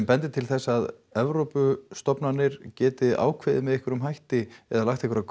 bendir til þess að Evrópustofnanir geti með einhverjum hætti eða lagt einhverjar